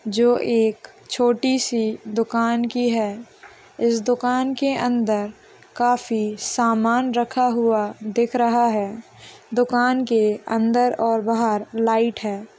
जो एक छोटी सी दुकान की है इस दुकान के अंदर काफ सामान रखा हुआ दिख रहा है दुकान के अंदर और बाहर लाइट है ।